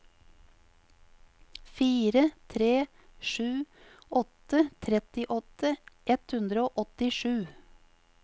fire tre sju åtte trettiåtte ett hundre og åttisju